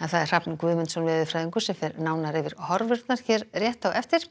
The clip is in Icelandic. Hrafn Guðmundsson veðurfræðingur fer nánar yfir horfurnar hér rétt á eftir